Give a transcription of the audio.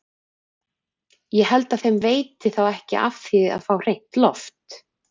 Ég held að þeim veiti þá ekki af því að fá hreint loft!